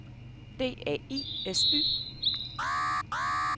D A I S Y